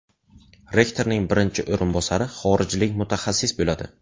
Rektorning birinchi o‘rinbosari xorijlik mutaxassis bo‘ladi.